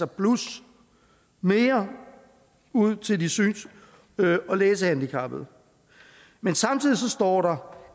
plus mere ud til de syns og læsehandicappede men samtidig står der